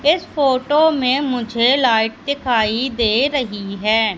इस फोटो में मुझे लाइट दिखाई दे रही है।